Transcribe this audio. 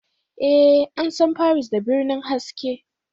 Ee, an san Paris da birnin haske